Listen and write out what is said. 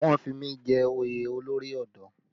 Wọ́n fi mí jẹ oyè olórí ọ̀dọ́